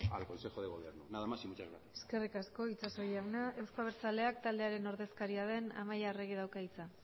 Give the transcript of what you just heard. al consejo de gobierno nada más y muchas gracias eskerrik asko itxaso jauna euzko abertzaleak taldearen ordezkariaren amaia arregik dauka hitza